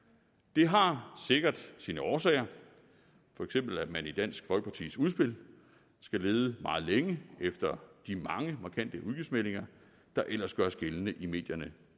det har sikkert sine årsager for eksempel at man i dansk folkepartis udspil skal lede meget længe efter de mange markante udgiftsmeldinger der ellers gøres gældende i medierne